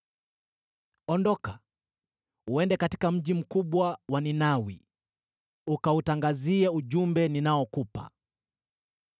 “Ondoka uende katika mji mkubwa wa Ninawi, ukautangazie ujumbe ninaokupa.”